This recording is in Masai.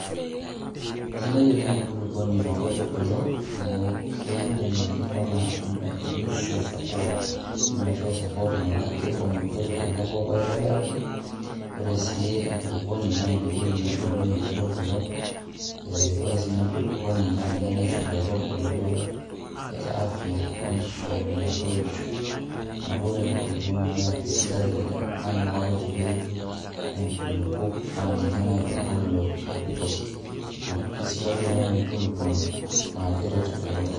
Kesidai oleng' enkulukuoni toonkaitubulu amu keidim aikuna nisho support metaa kiibung' nkaitubuku enkoip aitobiraki, ore sii enkulukuoni naa inewueji ebukunyie inkaitubulu ee ore sininye enkulukuoni naa ninye naisho inkaitubulu afya, nisho metoisho neeku ore enkulukuoni naa kesidai oleng'